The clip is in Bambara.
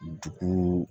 Dukun